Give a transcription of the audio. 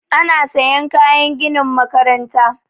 Ana sayan kayan ginin makaranta